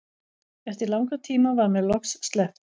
Eftir langan tíma var mér loks sleppt.